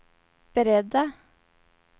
beredda